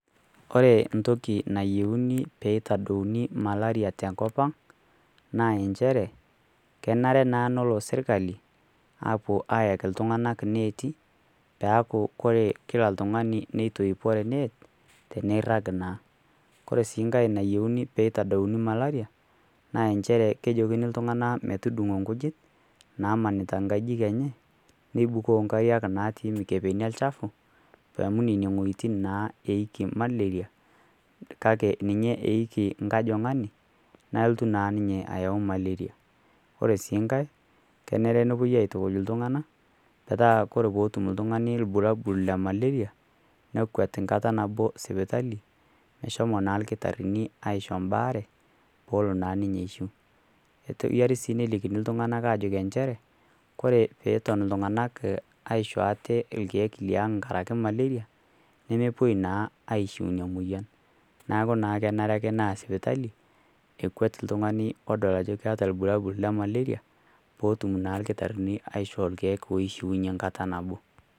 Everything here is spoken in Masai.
Kore ntoki nayieuni peeitadouni malaria te nkop ang' naa enchere kenare naa nolo sirkali aapuo aayeki ltung'anak neeti peaku kore kila ltung'ani neitoipore neet teneirrag naa. Kore sii nkae nayieuni peeitadouni malaria naa enchere kejokini ltug'ana metudung'o nkujit naamanita nkajijik enche neibukoo nkariak naatii mikepeni e lchapu amu nenie ng'ojitin naa eiki malaria kake ninye eiki nkajong'ani nalotu naa ninye ayeu malaria. Kore sii nkae kenare nepuoi aaitukuj ltung'ana metaa kore peetum ltung'ani irbulabul le malaria nekwet nkata nabo sipitali meshomo naa lkitarrini mbaare poolo naa ninye aishiu. Keyiari sii nelikini ltung'ana aajoki enchere kore peeton ltung'ana aaisho aate lkeek liang' nkarake malaria, nemepuoi naa aishiu nia moyian naaku naa kenare ake naa sipitali ekwet ltung'ani oata irbulabul le malaria pootum naa lkitarrini aishoo lkeek oishiunye nkata nabo.